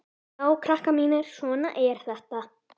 Já, krakkar mínir, svona er þetta.